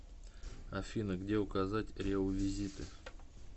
афина где указать реувизиты